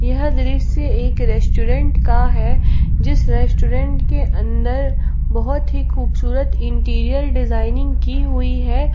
यह दृश्य एक रेस्टोरेंट का है जीस रेस्टोरेंट के अंदर बहोत ही खूबसूरत इंटीरियर डिजाइनिंग की हुई है।